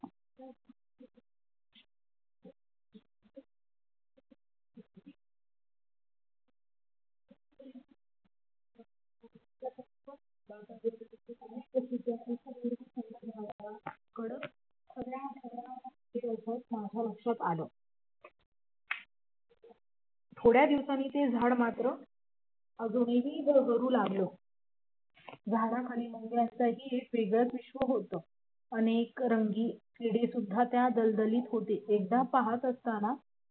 थोड्या दिवसांनी ते झाड मात्र अजूनही गडबडू लागलं झाडाखाली मुंग्यांचाही एक वेगळा विश्व होता अनेक रंगीन किडे सुद्धा त्या दलदलीत होते एकदा पहात असतांना